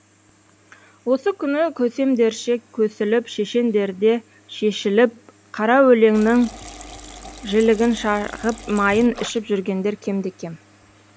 осы күні көсемдерше көсіліп шешендерде шешіліп қара өлеңнін жілігін шағып майын ішіп жүргендер кемде кем